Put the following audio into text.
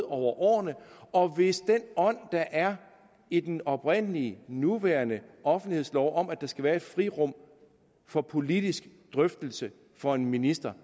årene og hvis den ånd der er i den oprindelige nuværende offentlighedslov om at der skal være et frirum for politisk drøftelse for en minister